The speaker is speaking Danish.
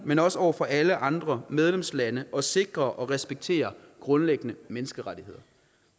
men også over for alle andre medlemslande at sikre og respektere grundlæggende menneskerettigheder